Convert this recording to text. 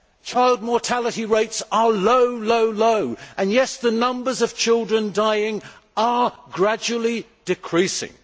Child mortality rates are low, low, low and, yes, the numbers of children dying are gradually decreasing.